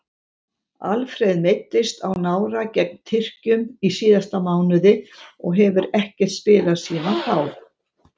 Alfreð meiddist á nára gegn Tyrkjum í síðasta mánuði og hefur ekkert spilað síðan þá.